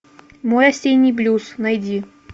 мой осенний блюз найди